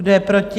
Kdo je proti?